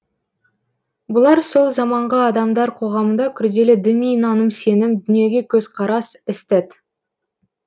бұлар сол заманғы адамдар қоғамында күрделі діни наным сенім дүниеге көзқарас эстет